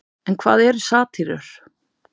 en hvað eru satírur